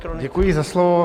Děkuji za slovo.